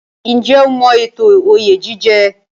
Ǹjẹ́ o mọ ètò oyè jíjẹ?